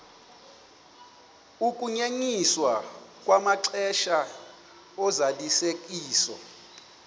ukunyenyiswa kwamaxesha ozalisekiso